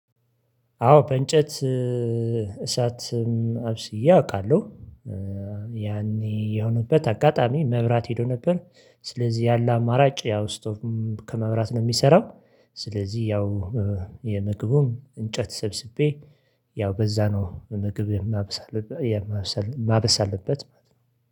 አዎ በእንጨት እሳትም አብስዬ አውቃለሁ። ያኔ የሆነበት አጋጣሚ መብራት ሄዶ ነበር። ስለዚህ ያለ አማራጭ ያው ስቶቭም ከመብራት ነው የሚሰራው ስለዚህ ያው የምግቡን እንጨት ሰብስቤ ያው በዛ ነው ምግብ የማብሰል የማብሰል የማብሰልበት ማለት ነው።